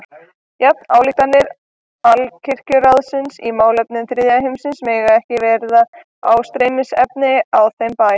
Jafnvel ályktanir Alkirkjuráðsins í málefnum þriðja heimsins mega ekki verða ásteytingarefni á þeim bæ.